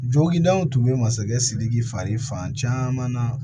Jogili daw tun bɛ masakɛ sidiki fari fan caman na